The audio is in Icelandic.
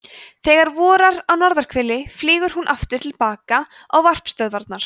þegar vorar á norðurhveli flýgur hún aftur til baka á varpstöðvarnar